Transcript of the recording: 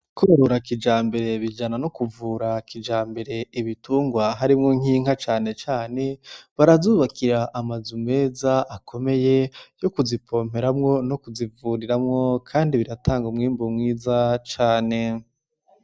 Kworora kijambere bijana no kuvura kijambere ibitungwa harimwo nk'inka cane cane barazubakira amazu meza akomeye yokuzipomperamwo nokuzivuriramwo kandi biratanga umwimbu mwiza cane.